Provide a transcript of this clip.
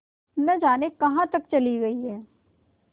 न जाने कहाँ तक चली गई हैं